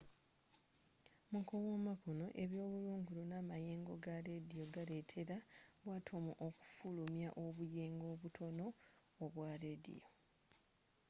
mu kuwuuma kuno ebyebulungulo n'amayengo ga lediyo galetera bu atomu okufulumya obuyengo obutono obwa lediyo